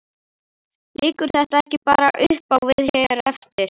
Liggur þetta ekki bara uppá við hér eftir?